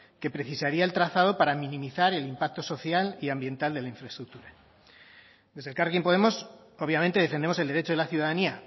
que precisaría el trazado para minimizar el impacto social y ambiental de la infraestructura desde elkarrekin podemos obviamente defendemos el derecho de la ciudadanía